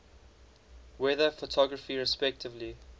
weather photography respectively